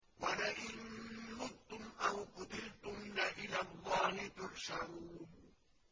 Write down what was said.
وَلَئِن مُّتُّمْ أَوْ قُتِلْتُمْ لَإِلَى اللَّهِ تُحْشَرُونَ